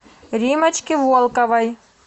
риммочки волковой